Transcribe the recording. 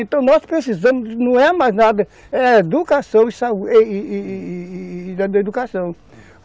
Então nós precisamos, não é mais nada, é educação e uma boa educação,